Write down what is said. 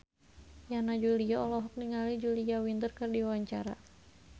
Yana Julio olohok ningali Julia Winter keur diwawancara